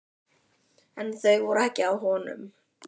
En þau voru ekki á honum!